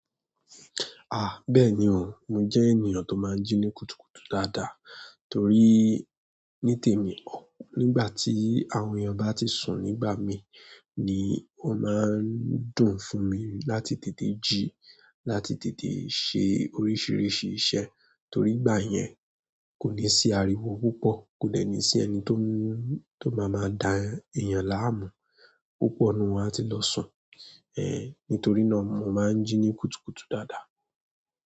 Ah! Bẹ́ẹ̀ni o, mo jẹ́ ènìyàn tó máa ń jí ní kùtùkùtù dáadáa torí ní tèmi, nígbà tí àwọn èèyàn bá ti sùn nígbà mi ni o máa ń dùn fún mi láti tètè jí, láti tètè ṣe oríṣiríṣi iṣẹ́ torí ìgbà yẹn kò ní sí ariwo púpọ̀, kò dẹ ní sí ẹni tó máa máa dá èèyàn láàmú. Púpọ̀ ni wọ́n á ti lọ sùn. Ehn, nítorí náà mo máa ń jí ní kùtùkùtù dáadáa.